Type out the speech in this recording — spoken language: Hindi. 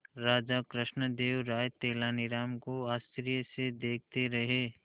राजा कृष्णदेव राय तेनालीराम को आश्चर्य से देखते रहे